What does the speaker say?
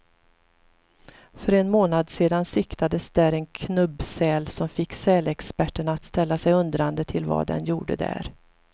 För en månad sedan siktades där en knubbsäl, som fick sälexperterna att ställa sig undrande till vad den gjorde där.